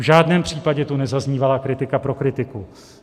V žádném případě tu nezaznívala kritika pro kritiku.